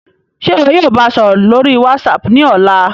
Ṣe iwọ yóò ba a sọrọ lori WhatsApp ni ọla?